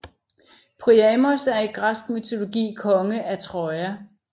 Priamos er i græsk mytologi konge af Troja